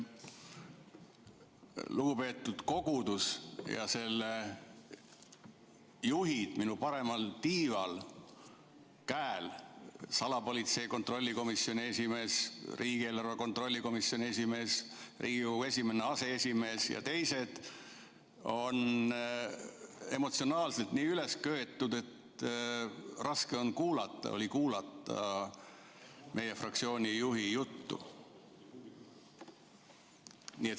Lugupeetud kogudus ja selle juhid minu paremal tiival – salapolitsei kontrolli komisjoni esimees, riigieelarve kontrolli komisjoni esimees, Riigikogu esimene aseesimees ja teised – on emotsionaalselt nii üles köetud, et raske oli kuulata meie fraktsiooni juhi juttu.